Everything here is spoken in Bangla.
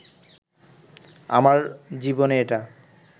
আমার জীবনে এটা